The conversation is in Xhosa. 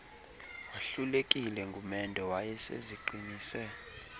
wahlulekile ngumendo wayeseziqinise